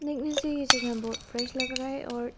ये जगह बहोत फ्रेस लग रहा है और--